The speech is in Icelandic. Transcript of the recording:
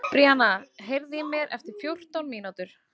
Bríanna, heyrðu í mér eftir fjórtán mínútur.